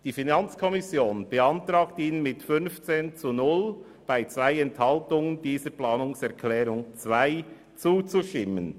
Die FiKo beantragt Ihnen mit 15 zu 0 Stimmen bei 2 Enthaltungen, der Planungserklärung 2 zuzustimmen.